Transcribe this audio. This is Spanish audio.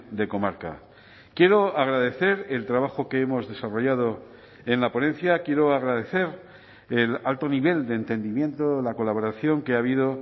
de comarca quiero agradecer el trabajo que hemos desarrollado en la ponencia quiero agradecer el alto nivel de entendimiento la colaboración que ha habido